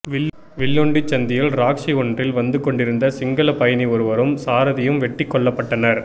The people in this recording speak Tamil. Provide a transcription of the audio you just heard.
வில்லுண்டிச் சந்தியில் ராக்ஸி ஒன்றில் வந்தகொண்டிருந்த சிங்கள பயணி ஒருவரும் சாரதியும் வெட்டிக் கொல்லப்பட்டனர்